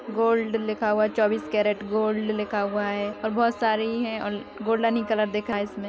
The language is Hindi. गोल्ड लिखा हुआ है चौबीस कैरेट गोल्ड लिखा हुआ हैं और बोहोत सारी ही हैं और गोल्डन ही कलर दिख है इसमें --